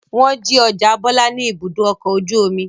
Wọ́n jí àwọn ọjà Bọ́lá ní Ibùdó-ọkọ̀ ojú-omi?